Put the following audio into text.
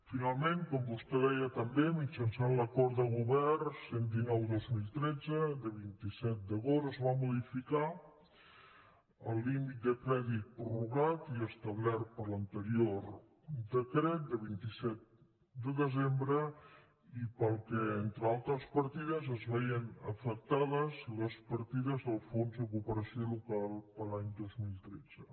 finalment com vostè deia també mitjançant l’acord de govern cent i dinou dos mil tretze de vint set d’agost es va modificar el límit de crèdit prorrogat i establert per l’anterior decret de vint set de desembre i pel qual entre altres partides es veien afectades les partides del fons de cooperació local per a l’any dos mil tretze